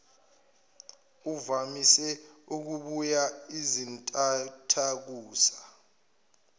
uvamise ukubuya izintathakusa